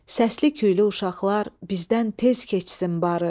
Səsli küylü uşaqlar bizdən tez keçsin barı.